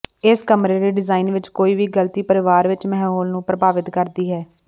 ਇਸ ਕਮਰੇ ਦੇ ਡਿਜ਼ਾਇਨ ਵਿੱਚ ਕੋਈ ਵੀ ਗਲਤੀ ਪਰਿਵਾਰ ਵਿੱਚ ਮਾਹੌਲ ਨੂੰ ਪ੍ਰਭਾਵਿਤ ਕਰਦੀ ਹੈ